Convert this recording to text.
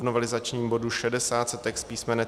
V novelizačním bodu 60 se text písm.